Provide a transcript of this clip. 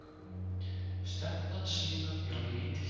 Stefnan síðan ég var lítill